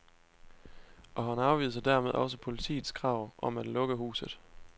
Og han afviser dermed også politiets krav om at lukke huset.